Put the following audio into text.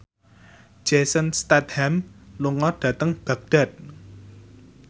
Jason Statham lunga dhateng Baghdad